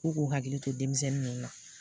K'u k'u hakili to denmisɛnnin ninnu na.